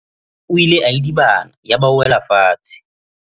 o ile a idibana yaba o wela fatshe